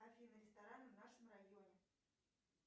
афина рестораны в нашем районе